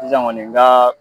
Sisan kɔni n ka